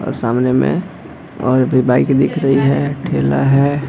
और सामने में और भी बाइक दिख रही है ठेला है।